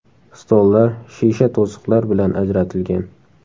Stollar shisha to‘siqlar bilan ajratilgan.